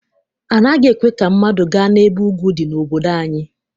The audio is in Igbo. Anaghị ekwe ka mmadụ gaa n'ebe ugwu dị n'obodo anyị.